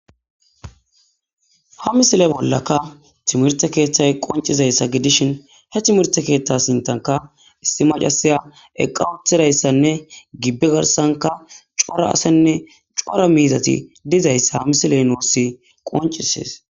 ha misile bollaka timirte keeththay qoncizayssa gidishin he timirte keeththa sintanka issi macasiya eqqa uthidayssanne gibbe garsanka cora asenne cora miizati dizayssa ha misile noussi qoncisees